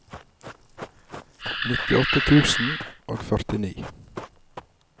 nittiåtte tusen og førtini